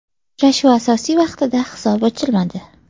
Uchrashuv asosiy vaqtida hisob ochilmadi.